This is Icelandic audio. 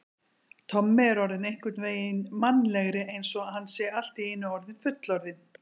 Tommi er orðinn einhvern veginn mannalegri, eins og hann sé allt í einu orðinn fullorðinn.